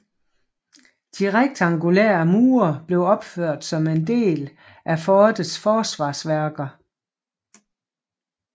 De rektangulære mure blev opført som en del af fortets forsvarsværker